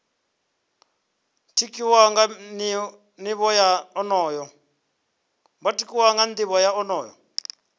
tikwaho nga nivho ya onoyo